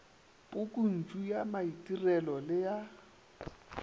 pukuntšu ya maitirelo le ya